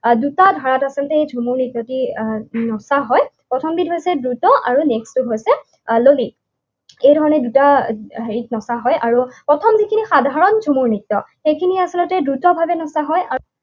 দুটা ধাৰাত আচলতে এই ঝুমুৰ নৃত্যটি আহ নচা হয়। প্ৰথমবিধ হৈছে দ্ৰুত আৰু next টো হৈছে । এইধৰণে দুটা হেৰিত নচা হয় আৰু প্ৰথম যিখিনি সাধাৰণ ঝুমুৰ নৃত্য, সেইখিনি আচলতে দ্ৰুতভাৱে নচা হয় আৰু